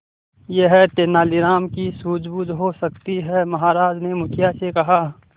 यह तेनालीराम की सूझबूझ हो सकती है महाराज ने मुखिया से कहा